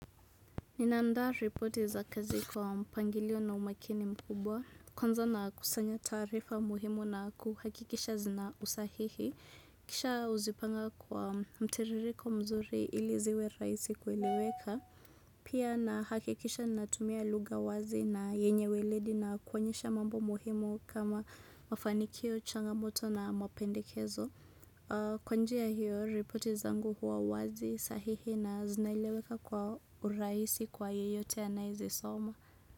Nina andaa ripoti za kazi kwa mpangilio na umakini mkubwa. Kwanza na kusanya taarifa muhimu na kuhakikisha zina usahihi. Kisha uzipanga kwa mtiririko mzuri iliziwe rahisi kueleweka. Pia na hakikisha natumia lugha wazi na yenye weledi na kuonyesha mambo muhimu kama mafanikio, changamoto na mapendekezo. Kwa njia hiyo, ripoti zangu huwa wazi, sahihi na zinaeleweka kwa urahisi kwa yeyote anayezisoma.